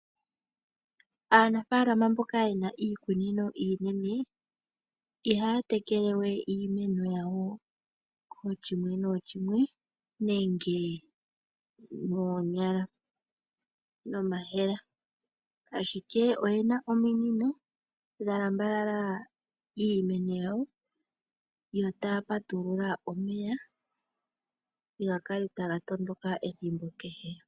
Aanafaalama mboka yena iikunino iinene, iha ya tekele we iimeno ya wo kooshimwe nooshimwe nenge no ma yemele, ashike oye na ominino, dhalambalala iimeno yawo, yo ta ya patulula omeya, ga kale ta ga tondoka ethimbo kehe.